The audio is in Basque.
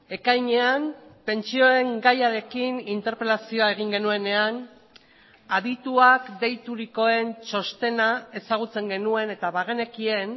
ekainean pentsioen gaiarekin interpelazioa egin genuenean adituak deiturikoen txostena ezagutzen genuen eta bagenekien